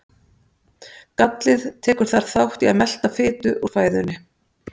gallið tekur þar þátt í að melta fitu úr fæðunni